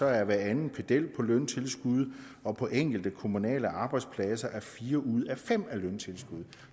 er hver anden pedel på løntilskud og på enkelte kommunale arbejdspladser er fire ud af fem job løntilskud